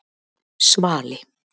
Svali